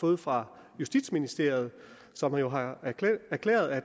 fået fra justitsministeriet som jo har erklæret at